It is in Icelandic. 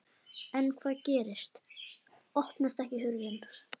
En hvað gerist. opnast ekki hurðin!